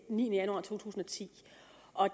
niende januar to tusind og ti